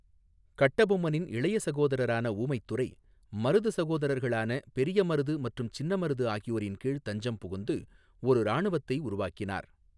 கட்டபொம்மனின் இளைய சகோதரரான ஊமைத்துரை, மருது சகோதரர்களான பெரிய மருது மற்றும் சின்னமருது ஆகியோரின் கீழ் தஞ்சம் புகுந்து ஒரு இராணுவத்தை உருவாக்கினார்.